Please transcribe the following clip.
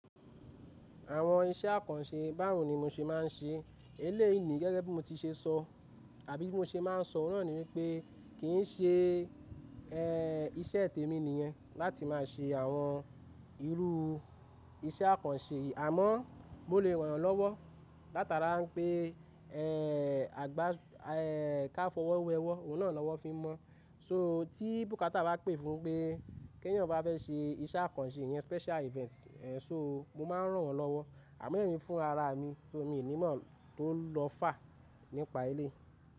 Àwọn iṣẹ́ àkànṣe báwo ni mo ṣe máa ń ṣe? Eléyìí ni gẹ́gẹ́ bí mo ti ṣe sọ àbí bí mo ṣe máa ń sọ, ó náà ni wípé kì í ṣe ẹ́ iṣẹ́ tèmi nìyẹn láti máa ṣe àwọn irú iṣẹ́ àkànṣe yìí, àmọ́ mo lè ràn yán lọ́wọ́. Látara pé ẹ́ àgbá ẹ́ ká fọwọ́ wẹ ọwọ́, òun náà lọ́wọ́ fi mọ̀. So tí bùkátà bá pè fún pé kẹ́yìn ọ̀ bá fẹ́ ṣe iṣẹ́ àkànṣe yẹn special event ẹ́ so mo máa ń ràn wọ́n lọ́wọ́ àmọ́ èmi fún ara mi tó, mi ò ní mọ̀ tó lọ fà nípa ilé.